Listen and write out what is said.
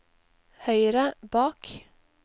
høyre bak